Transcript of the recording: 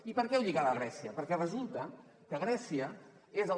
i per què ho lligava amb grècia perquè resulta que grècia és el